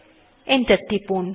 enter টিপুন